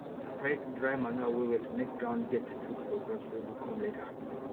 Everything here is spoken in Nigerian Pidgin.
spread dry manure wellwell make ground get food for crops wey go come later